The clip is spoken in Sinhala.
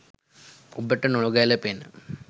ඔබට නොගැලපෙන